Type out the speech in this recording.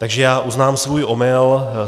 Takže já uznám svůj omyl.